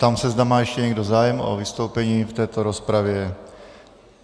Ptám se, zda má ještě někdo zájem o vystoupení v této rozpravě.